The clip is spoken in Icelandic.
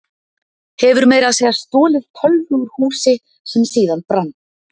Hefur meira að segja stolið tölvu úr húsi sem síðan brann.